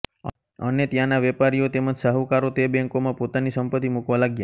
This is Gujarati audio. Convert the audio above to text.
અને ત્યાંના વેપારીઓ તેમજ શાહુકારો તે બેંકોમા પોતાની સંપતી મુકવા લાગ્યા